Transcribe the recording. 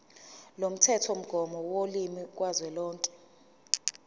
lomthethomgomo wolimi kazwelonke